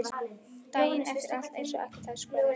Daginn eftir er alltaf eins og ekkert hafi í skorist.